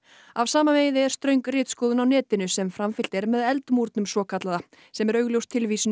af sama meiði er ströng ritskoðun á netinu sem framfylgt er með Eldmúrnum svokallaða sem er augljós tilvísun í